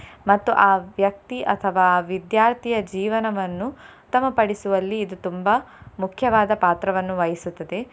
ಮತ್ತು ಆ ವ್ಯಕ್ತಿ ಅಥವಾ ಆ ವಿದ್ಯಾರ್ಥಿಯ ಜೀವನವನ್ನು ಉತ್ತಮ ಪಡಿಸುವಲ್ಲಿ ಇದು ತುಂಬಾ ಮುಖ್ಯವಾದ ಪಾತ್ರವನ್ನು ವಹಿಸುತ್ತದೆ.